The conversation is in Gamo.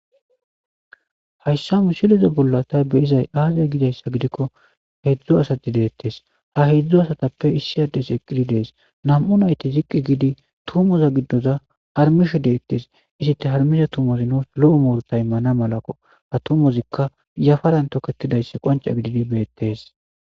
Hayssa musilezo bolla tay be izay aaze gidayssa gidikko hedzdzo asati deettes ha hedzdzo asatappe issi ades eqqidi dees nam7u nayti ziqqi giidi tumoza giddoza harmisho deettes isite harmisha tumozi nos lo7u murta y mana malaqo ha tumozikka yafaran toketidaysse qonca gididi beettees.